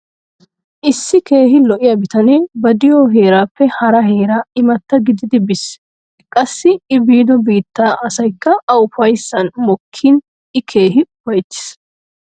Issi keehi lo'ya bitanee ba de'iyo heeraappe hara heera imatta gididi biis. Qassi I biido biittaa asayikka A ufayssan mokkiini I keehin ufayttees.